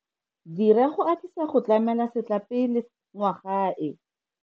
Dira go atisa go tlamela setlapele ngwaga e.